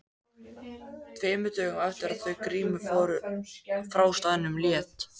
Tveimur dögum eftir að þau Grímur fóru frá staðnum lét